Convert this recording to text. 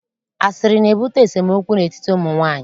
Asịrị na-ebute esemokwu n'etiti ụmụ nwaanyị.